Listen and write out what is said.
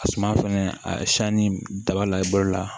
A suma fɛnɛ a siyanni daba la i bolo la